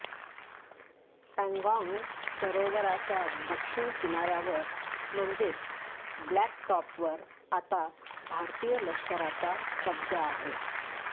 पँगाँग सरोवराच्या दक्षिण किनाऱ्यावर म्हणजेच ब्लॅक टॉपवर आता भारतीय लष्कराचा कब्जा आहे